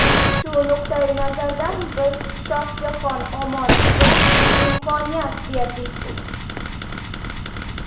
Shu nuqtayi nazardan biz Shohjahon Omonovga imkoniyat berdik.